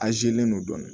An zeelen don dɔɔnin